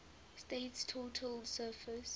state's total surface